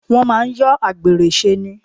Wọ́n máà ń yọ àgbèrè ṣe ni.